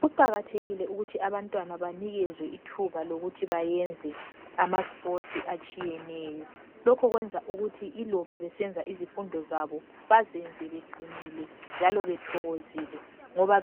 Kuqhakathekile ukuthi abantwana banikezwe ithuba lokuthi bayenze ama sport atshiyeneyo lokhu kwenza ukuthi iloba besenza izifundo zabo bazenze beqinile njalo bethokozile ngoba